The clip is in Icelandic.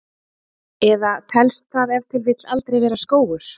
Eða telst það ef til vill aldrei vera skógur?